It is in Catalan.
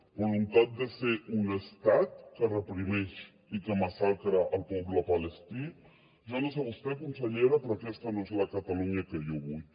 voluntat de ser un estat que reprimeix i que massacra el poble palestí jo no sé vostè consellera però aquesta no és la catalunya que jo vull